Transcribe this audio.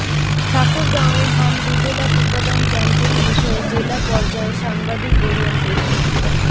ঠাকুরগাঁওয়ে হাম রুবেলা টিকাদান ক্যাম্পেইন বিষয়ে জেলা পর্যায়ে সাংবাদিক ওরিয়েন্টেশন